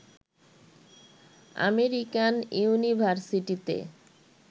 American ইউনিভারসিটিতে